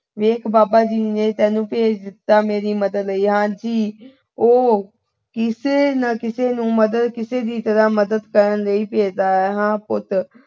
ਦੇਖ ਬਾਬਾ ਜੀ ਨੇ ਤੈਨੂੰ ਭੇਜ ਦਿੱਤਾ ਮੇਰੀ ਮਦਦ ਲਈ। ਹਾਂ ਜੀ। ਉਹ ਕਿਸੇ ਨਾ ਕਿਸੇ ਨੂੰ ਕਿਸੇ ਦੀ ਮਦਦ ਕਰਨ ਲਈ ਭੇਜਦਾ ਹੈ। ਹਾਂ ਪੁੱਤ